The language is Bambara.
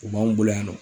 U b'anw bolo yan nɔ